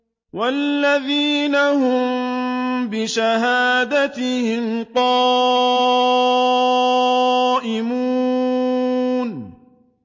وَالَّذِينَ هُم بِشَهَادَاتِهِمْ قَائِمُونَ